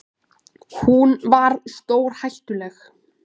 Hún var stórhættuleg.